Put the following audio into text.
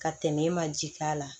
Ka tɛmɛ e ma ji k'a la